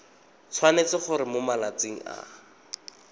tshwanetse gore mo malatsing a